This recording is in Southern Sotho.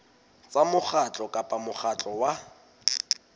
tsa mokgatlo kapa mokgatlo wa